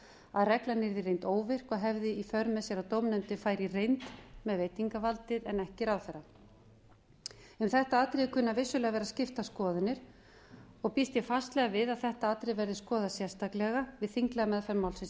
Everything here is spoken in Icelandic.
að reglan yrði í reynd óvirk og hefði í för með sér að dómnefndin færi í reynd með veitingarvaldið en ekki ráðherra um þetta atriði kunna vissulega að vera skiptar skoðanir og býst ég fastlega við að þetta atriði verði skoðað sérstaklega við þinglega meðferð málsins í